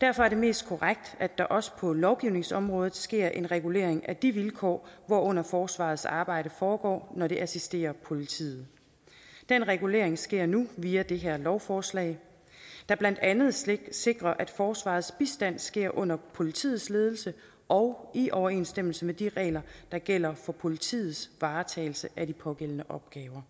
derfor er det mest korrekt at der også på lovgivningsområdet sker en regulering af de vilkår hvorunder forsvarets arbejde foregår når det assisterer politiet den regulering sker nu via det her lovforslag der blandt andet sikrer sikrer at forsvarets bistand sker under politiets ledelse og i overensstemmelse med de regler der gælder for politiets varetagelse af de pågældende opgaver